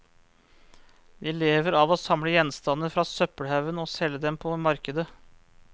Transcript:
De lever av å samle gjenstander fra søppelhaugen og selge dem på markedet.